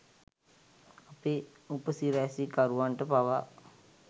අපේ උපසිරැසිකරුවන්ට පවා